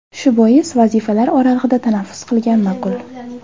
Shu bois, vazifalar oralig‘ida tanaffus qilgan ma’qul.